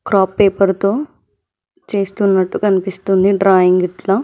craft paper తో చేస్తున్నట్టు కనిపిస్తుంది డ్రాయింగ్ ఇట్ల--